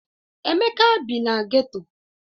Emeka bi na geto.